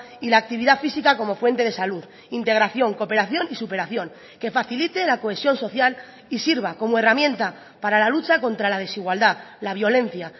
y la actividad física como fuente de salud integración cooperación y superación que facilite la cohesión social y sirva como herramienta para la lucha contra la desigualdad la violencia